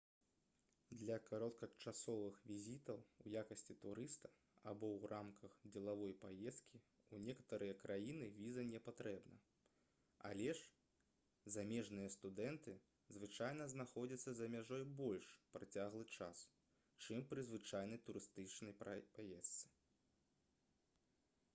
для кароткачасовых візітаў у якасці турыста або ў рамках дзелавой паездкі ў некаторыя краіны віза не патрэбна але ж замежныя студэнты звычайна знаходзяцца за мяжой больш працяглы час чым пры звычайнай турыстычнай паездцы